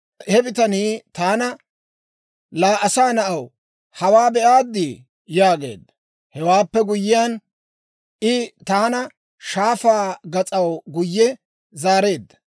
He bitanii taana, «Laa asaa na'aw, hawaa be'aaddi?» yaageedda. Hewaappe guyyiyaan, I taana shaafaa gas'aw guyye zaareedda.